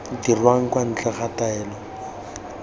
dirwang kwa ntle ga taelo